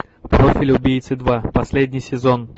профиль убийцы два последний сезон